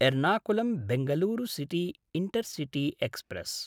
Ernakulam Bengaluru city intercity express